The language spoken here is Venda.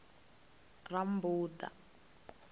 rammbuḓa